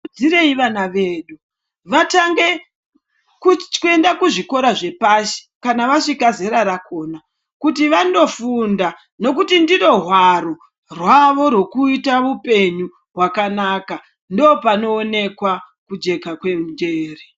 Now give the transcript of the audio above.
Ngatikuridzireyi vana vedu vatange kuenda kuzvikora zvepashi kana vasvika zera rakona kuti vanofunda ngekuti ndiro hwaro rwavo rwokuita upenyu hwakanaka nekuti ndopanoonekwa kujeka kwenjere.